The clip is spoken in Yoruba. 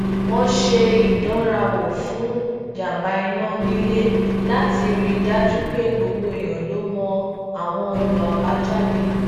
wón ṣe ìdánrawò fun janba ina nile lati ri i daju pe gbogbo èèyàn lo mọ awọn ọnà abajáde